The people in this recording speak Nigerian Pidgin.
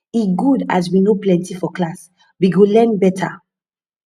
e good as we no plenty for class we go learn better